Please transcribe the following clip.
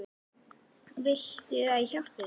Viltu að ég hjálpi þér?